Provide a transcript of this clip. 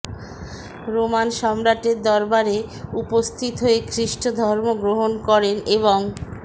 Roman সম্রাটের দরবারে উপস্থিত হয়ে খৃষ্ট ধর্ম গ্রহণ করেন এবং